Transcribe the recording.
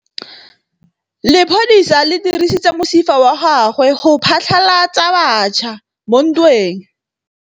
Lepodisa le dirisitse mosifa wa gagwe go phatlalatsa batšha mo ntweng.